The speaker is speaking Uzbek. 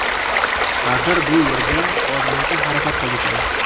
Axir, bu yerga ozmuncha xarajat qildik-mi?